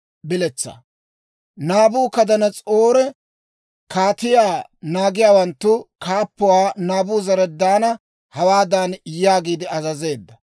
Naabukadanas'oori kaatiyaa naagiyaawanttu kaappuwaa Naabuzaradaana hawaadan yaagiide azazeedda;